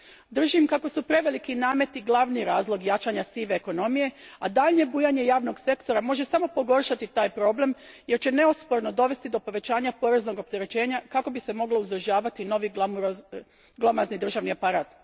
Držim kako su preveliki nameti glavni razlog jačanja sive ekonomije, a daljnje bujanje javnog sektora može samo pogoršati taj problem jer će neosporno dovesti do povećanja poreznog opterećenja kako bi se moglo uzdržavati novi glomazni državni aparat.